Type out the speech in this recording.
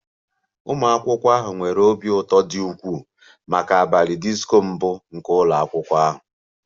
Ụmụ akwụkwọ ahụ nwere obi ụtọ dị ukwuu maka abalị disko mbụ nke ụlọ akwụkwọ ahụ